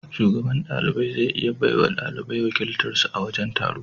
Shugaban ɗalibai zai iya bawa ɗalibai wakiltar su a wajen taro.